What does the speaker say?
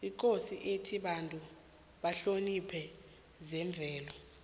ikosi ithe abantu bahloniphe zemvelo